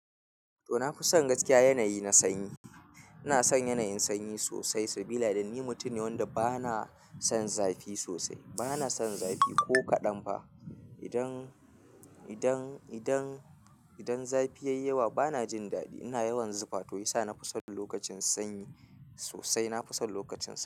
To, na fi son gaskiya, yanayi na sanyi. Ina son yanayin sanyi sosai, sabila da ni mutum ne wanda ba na son zafi sosai. Ba na son zafi ko kaɗan fa. Idan zafi yayi yawa bana jin dadi ina yawan zufa. To shi ya sa na fi son lokacin sanyi sosai. Na fi son lokacin sanyi.